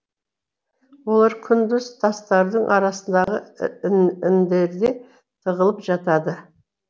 олар күндіз тастардың арасындағы індерде тығылып жатады